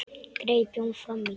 greip Jón fram í.